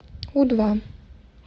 у два